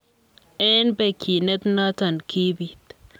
Eng begyinet notok kibiit.